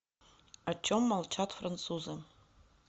о чем молчат французы